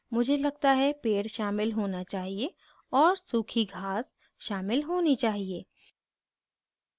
मुझे लगता है पेड़ शामिल होना चाहिए और सूखी घास शामिल होनी चाहिए